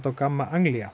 á Gamma